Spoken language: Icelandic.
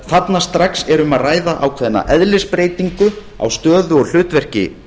þarna strax er um að ræða ákveðna eðlisbreytingu á stöðu og hlutverki